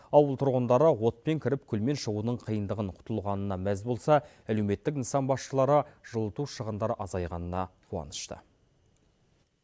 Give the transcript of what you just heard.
ауыл тұрғындары отпен кіріп күлмен шығудың қиындығын құтылғанына мәз болса әлеуметтік нысан басшылары жылыту шығындары азайғанына қуанышты